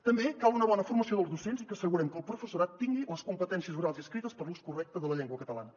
també cal una bona formació dels docents i que assegurem que el professorat tingui les competències orals i escrites per a l’ús correcte de la llengua catalana